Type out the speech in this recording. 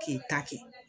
K'i ta kɛ